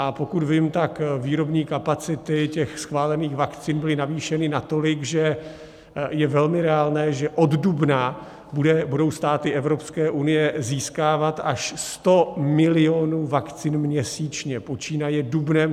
A pokud vím, tak výrobní kapacity těch schválených vakcín byly navýšeny natolik, že je velmi reálné, že od dubna budou státy Evropské unie získávat až 100 milionů vakcín měsíčně, počínaje dubnem.